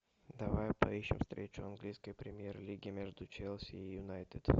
давай поищем встречу английской премьер лиги между челси и юнайтед